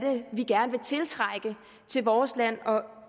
vi gerne vil tiltrække til vores land og